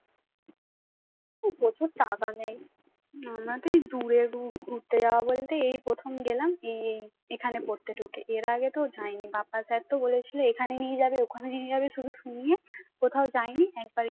এখানে পড়তে ঢুকে। এর আগে তো যায়নি বাপ্পা sir তো বলেছিল এখানে নিয়ে যাবে ওখানে নিয়ে যাবে শুধু শুনিয়ে কোথাও যায়নি একবার